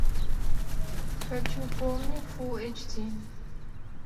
хочу помни фулл эйч ди